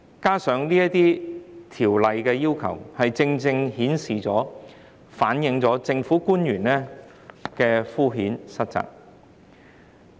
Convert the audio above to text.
這些要求正正顯示、反映政府官員的敷衍塞責。